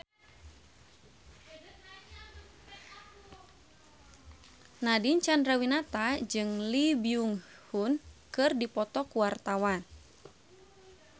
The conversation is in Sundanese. Nadine Chandrawinata jeung Lee Byung Hun keur dipoto ku wartawan